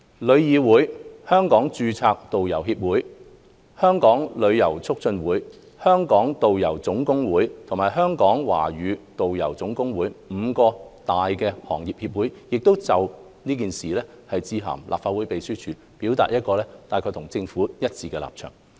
旅議會、香港註冊導遊協會、香港旅遊促進會、香港導遊總工會和香港導遊總工會五大行業協會亦已就此致函立法會秘書處，表達與政府一致的立場。